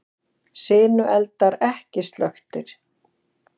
Sinueldar ekki slökktir